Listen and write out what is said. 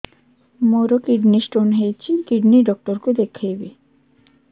ମୋର kidney stone ହେଇଛି kidney doctor କୁ ଦେଖାଇବି